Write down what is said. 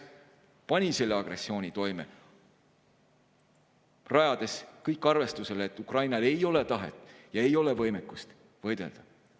Ta pani selle agressiooni toime, rajades kõik arvestusele, et Ukrainal ei ole tahet ja ei ole võimekust võidelda.